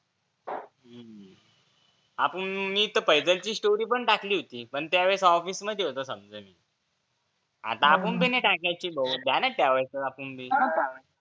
हम्म आपुन मी तेर फैजल ची story सुद्धा टाकली होती पण तेव्हा ऑफिस मध्ये होतो सगळे आपुन भी नाही टाकायची भो ध्यानात ठेवायचं आपूण भी